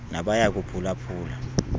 nabaya kuphula phula